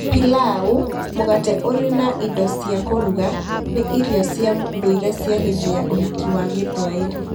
Pilau, mũgate ũrĩ na indo cia kũruga, nĩ irio cia ndũire cia hĩndĩ ya ũhiki wa Gĩthwaĩri.